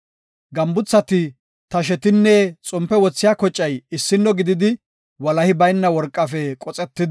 Gambuthati, tashetinne xompe wothiya kocay issino gididi, walahi bayna worqafe qoxetidi oosetidosona.